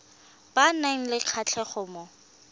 ba nang le kgatlhego mo